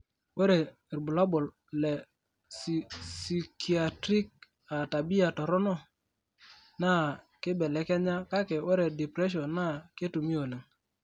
Ore irbulabol le Psychiatric aa tabia toronok, naa keibelekenya kake ore depression naa ketumi oleng.